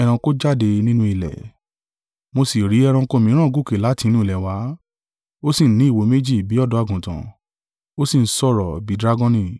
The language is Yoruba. Mo sì rí ẹranko mìíràn gòkè láti inú ilẹ̀ wá; ó sì ní ìwo méjì bí ọ̀dọ́-àgùntàn, ó sì ń sọ̀rọ̀ bí dragoni.